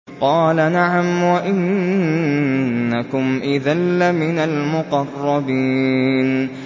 قَالَ نَعَمْ وَإِنَّكُمْ إِذًا لَّمِنَ الْمُقَرَّبِينَ